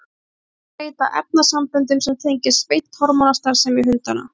Þeir seyta efnasamböndum sem tengjast beint hormónastarfsemi hundanna.